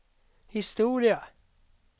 historia